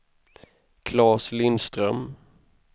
Claes Lindström